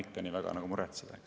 Rene Kokk, palun!